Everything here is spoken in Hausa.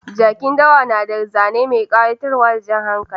Jakin dawa na da zane mai kayatarwa da jan hankali.